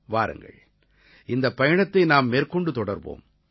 வாருங்கள் இந்தப் பயணத்தை நாம் மேற்கொண்டு தொடர்வோம்